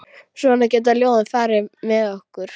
Svona geta ljóðin farið með okkur.